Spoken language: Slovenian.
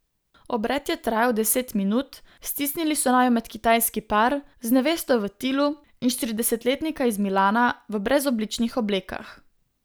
Obred je trajal deset minut, stisnili so naju med kitajski par, z nevesto v tilu, in štiridesetletnika iz Milana v brezobličnih oblekah.